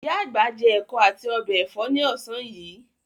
Ìyá àgbà jẹ ẹ̀kọ́ àti ọbẹ̀ ẹ̀fọ́ ní ọ̀sán yìí.